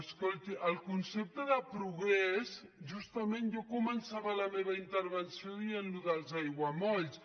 escolti el concepte de progrés justament jo començava la meva intervenció dient allò dels aiguamolls